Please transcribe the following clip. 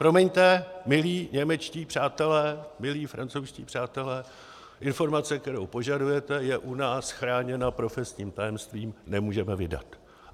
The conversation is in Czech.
Promiňte, milí němečtí přátelé, milí francouzští přátelé, informace, kterou požadujete, je u nás chráněna profesním tajemstvím, nemůžeme vydat.